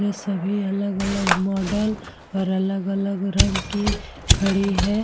ये सभी अलग- अलग मॉडल और अलग - अलग रंग की खड़ी है।